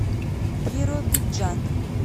биробиджан